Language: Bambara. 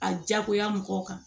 A diyagoya mɔgɔw kan